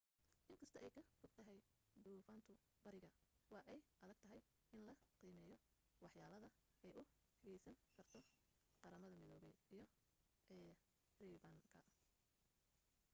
inkasto ay ka fogtahay duufantu bariga waa ay adagtahay in la qiimeyo wax yeelada ay u geysan karto qramada midoobey iyo caribbean-ka